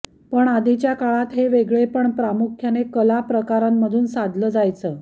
पण आधीच्या काळात हे वेगळेपण प्रामुख्याने कला प्रकारांमधून साधलं जायचं